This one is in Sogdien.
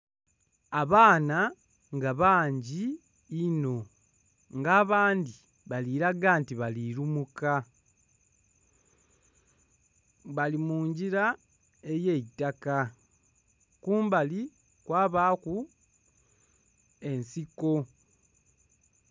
Abaana nga bangi inho nga abandhi bali laga nti bali lumuka, bali mu ngira ey'eitaka kumbali kwabaaku ensiko.